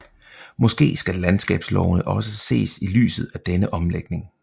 Måske skal landskabslovene også ses i lyset af denne omlægning